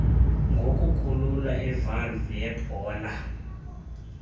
ngokukhulula ivalve yebhola